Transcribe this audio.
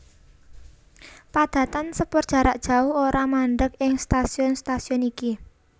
Padatan sepur jarak jauh ora mandheg ing stasiun stasiun iki